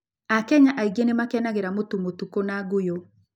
Akenya aingĩ nĩ makenagĩra mũtu mũtuku mũtuku na ngũyũ.